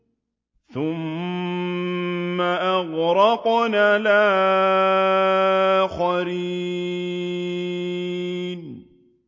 ثُمَّ أَغْرَقْنَا الْآخَرِينَ